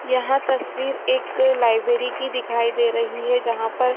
यहाँ तस्वीर एक लाइब्रेरी की दिखाई दे रही है जहाँ पर--